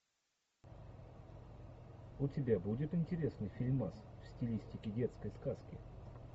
у тебя будет интересный фильмас в стилистике детской сказки